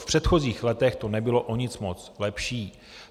V předchozích letech to nebylo o nic moc lepší.